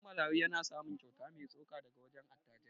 Gidan marayu yana samun kyauta mai tsoka daga wajen attajirai.